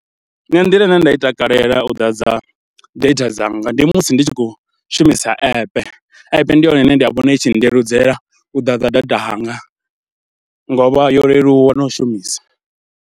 Nṋe nḓila ine nda i takalela u ḓadza data dzanga ndi musi ndi tshi khou shumisa ape, epe ndi yone ine nda vhona i tshi ndeludzela u ḓadza data hanga, ngo u vha yo leluwa na u shumisa.